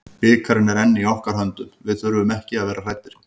Bikarinn er enn í okkar höndum, við þurfum ekki að vera hræddir.